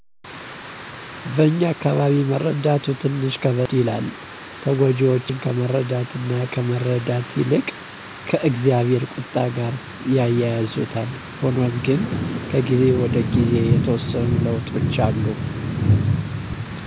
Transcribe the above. በእኛ አካባቢ መረዳቱ ትንሽ ከበደ ይላል። ተጎጅወችን ከመረዳት እና ከመረዳት ይልቅ ከ እግዚአብሄር ቁጣ ጋር ያያይዙታል። ሁኖም ግነ ከጊዜ ወደ ጊዜ የተወሰኑ ለዉጦች አሉ